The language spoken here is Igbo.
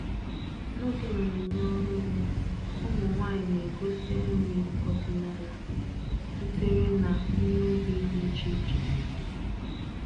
N'oge mmemme ọrụ ugbo, ụmụ nwanyị na-egosi nri ọdịnala sitere na ihe ubi dị iche iche.